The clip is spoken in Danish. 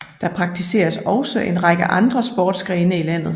Der praktiseres også en række andre sportsgrene i landet